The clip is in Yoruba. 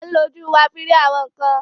We use our eyes for seeing things